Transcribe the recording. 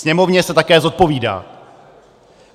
Sněmovně se také zodpovídá.